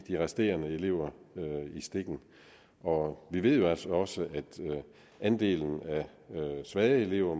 resterende elever i stikken og vi ved jo altså også at andelen af svage elever